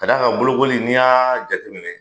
Ka da kan bolokoli n'i y'a jateminɛ